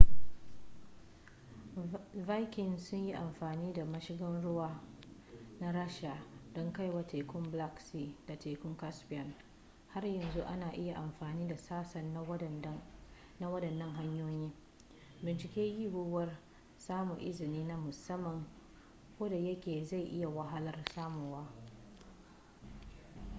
vikings sun yi amfani da mashigan ruwa na rasha don kaiwa tekun black sea da tekun caspian har yanzu ana iya amfani da sassa na waɗannan hanyoyi binciki yiwuwar samun izini na musamman koda yake zai yi wahalar samuwa